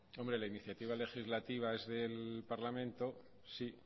la iniciativa legislativa es del parlamento sí